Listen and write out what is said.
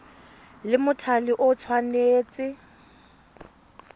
la mothale o le tshwanetse